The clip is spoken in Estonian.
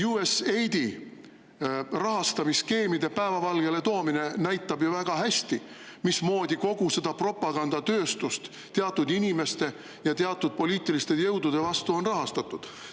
USAID-i rahastamise skeemide päevavalgele toomine näitab ju väga hästi, mismoodi kogu seda propagandatööstust teatud inimeste ja teatud poliitiliste jõudude vastu on rahastatud.